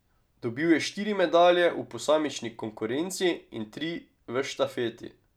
Dobil je štiri medalje v posamični konkurenci in tri v štafeti.